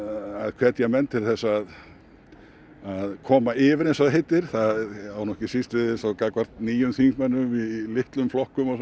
hvetja menn til þess að koma yfir eins og það heitir það á ekki síst við gagnvart nýjum þingmönnum í litlum flokkum svo